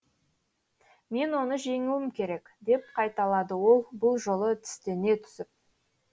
мен оны жеңуім керек деп қайталады ол бұл жолы тістене түсіп